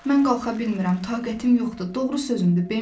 Mən qalxa bilmirəm, taqətim yoxdur, doğru sözümdür, Bembi.